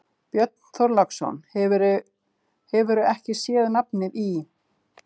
Björn Þorláksson: Hefurðu ekki sé nafnið í?